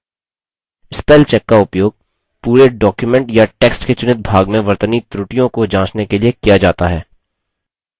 spellcheck का उपयोग पूरे document या text के चुनित भाग में वर्तनी त्रुटियों को जाँचने के लिए किया जाता है